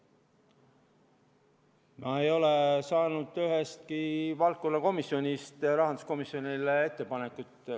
Ma ei ole saanud ühestki valdkonnakomisjonist ettepanekuid rahanduskomisjonile.